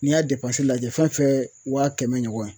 N'i y'a lajɛ fɛn fɛn wa kɛmɛ ɲɔgɔn ye